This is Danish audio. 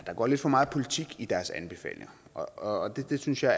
der går lidt for meget politik i deres anbefalinger og og det synes jeg